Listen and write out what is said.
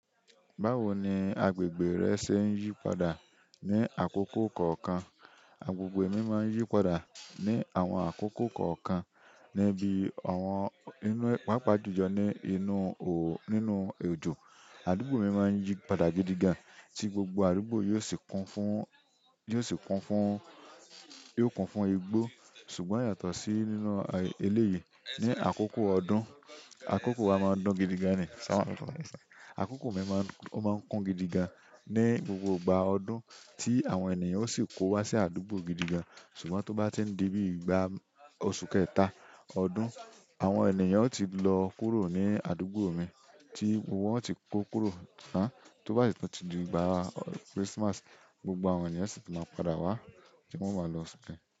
Báwo ni agbègbè rẹ ṣe ń yí padà ní àkókò kọ̀ọ̀kan? Agbègbè mi máa ń yí padà ní àwọn àkókò kọ̀ọ̀kan. Níbi àwọn inú, páapaá julọ ni inú ò, nínú òjò, àdúgbò mi máa ń yí padà gidi gan, tí gbogbo àdúgbò yóò sì kún fún, yóò sì kún fún, yóò kún fún igbó. Ṣùgbọ́n yàtọ̀ sí nínú eléyi ni akoko ọdún, akoko wa ma n dùn gidi gan ni àkókò mi máa ń, ó máa ń kún gidi gan ní, ni gbogbo ìgbà ọdún tí àwọn ènìyàn ó sì kó wa sí àdúgbò gidi gan. Ṣùgbọ́n tó bá ti ń dibi ìgbà oṣù kẹta ọdún, àwọn ènìyàn ó ti lọ kúrò ní àdúgbò mi tí wón ó ti kó kúrò ná. Tó bá tun ti di ìgbà Christmas, gbogbo àwọn ènìyàn sì ti máa padà wá tí wọ́n máa lọ sí.